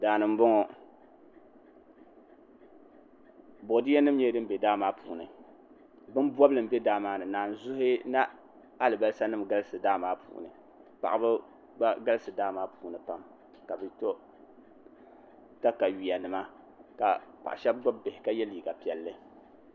Daani n boŋo boodiyɛ nim nyɛla din bɛ daa maa puuni bin bobli n bɛ daa maa ni naanzuhi ni alibarisa nim galisi daa maa puuni paɣaba gba galisi daa maa puuni pam ka bi to katawiya nima ka paɣa shab gbubi bihi ka yɛ liiga piɛlli